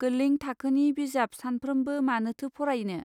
गोलैं थाखोनि बिजाब सानफ्रोमबो मानोथो फरायनो.